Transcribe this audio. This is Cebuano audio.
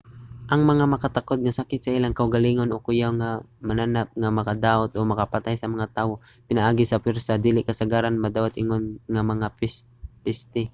ang mga makatakod nga sakit sa ilang kaugalingon o kuyaw nga mga mananap nga makadaot o makapatay sa mga tawo pinaagi sa pwersa dili kasagaran madawat ingon nga mga peste